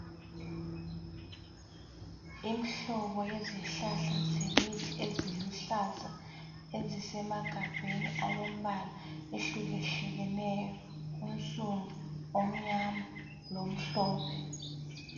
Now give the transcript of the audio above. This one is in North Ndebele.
Imhlobo yezihlahla zemithi eziluhlaza ezisemagabheni alembala ehlukehlukeneyo. Onsundu, omnyama lomhlophe.